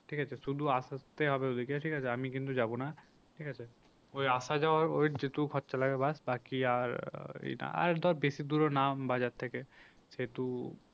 ঠিক আছে শুধু আসতে হবে ওদেরকে ঠিক আছে আমি কিন্তু যাবো না ঠিক আছে। ওই আশা যাওয়া ওই যেটুকু খরচা লাগে ব্যাস বাকি আর আর ধর বেশি দূরও না বাজার থেকে সেহেতু